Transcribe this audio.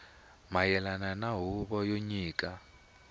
mayelana na huvo yo nyika